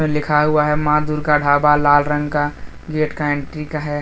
लिखा हुआ है मां दुर्गा ढाबा लाल रंग का गेट का एंट्री का है।